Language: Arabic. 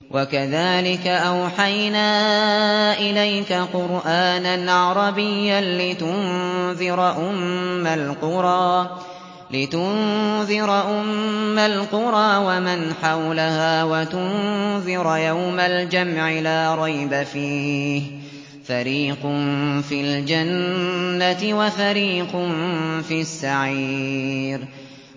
وَكَذَٰلِكَ أَوْحَيْنَا إِلَيْكَ قُرْآنًا عَرَبِيًّا لِّتُنذِرَ أُمَّ الْقُرَىٰ وَمَنْ حَوْلَهَا وَتُنذِرَ يَوْمَ الْجَمْعِ لَا رَيْبَ فِيهِ ۚ فَرِيقٌ فِي الْجَنَّةِ وَفَرِيقٌ فِي السَّعِيرِ